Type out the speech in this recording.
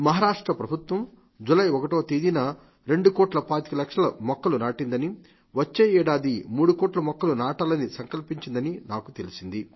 మహారాష్ట్ర ప్రభుత్వం జూలై 1వ తేదీన రెండు కోట్ల పాతిక లక్షల మొక్కలు నాటిందని వచ్చే ఏడాది మూడుకోట్ల మొక్కలు నాటాలని సంకల్పించిందని నాకు తెలిసింది